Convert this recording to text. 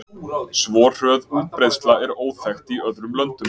Svo hröð útbreiðsla er óþekkt í öðrum löndum.